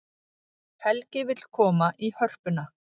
Helgi vill koma í Hörpuna